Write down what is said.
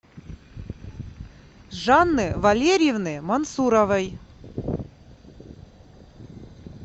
жанны валерьевны мансуровой